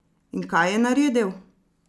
In kaj je naredil?